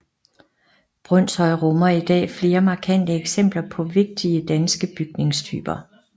Brønshøj rummer i dag flere markante eksempler på vigtige danske bygningstyper